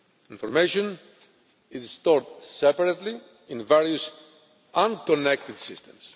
Information is stored separately in various unconnected systems.